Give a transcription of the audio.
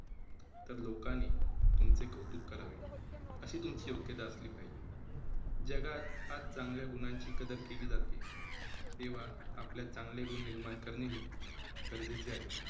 तर लोकांनी तुमचे कौतुक करावे, अशी तुमची योग्यता असली पाहिजे. जगात आज चांगल्या गुणांची कदर केली जाते, तेव्हा आपल्या चांगले गुण निर्माण करणे हे गरजेचे आहे.